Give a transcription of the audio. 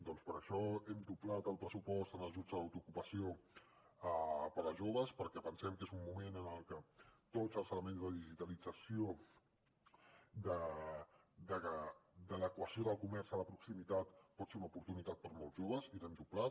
doncs per això hem doblat el pressupost en ajuts a l’autoocupació per a joves perquè pensem que és un moment en el que tots els elements de digitalització d’adequació del comerç de proximitat poden ser una oportunitat per a molts joves i l’hem doblat